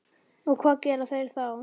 Og hvað gera þeir þá?